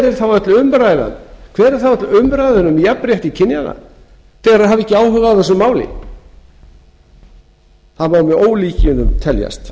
er þá öll umræðan um jafnrétti kynjanna þegar þær hafa ekki áhuga á þessu máli það má með ólíkindum teljast